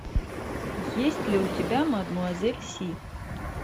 есть ли у тебя мадемуазель си